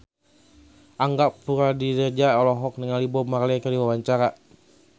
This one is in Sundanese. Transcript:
Angga Puradiredja olohok ningali Bob Marley keur diwawancara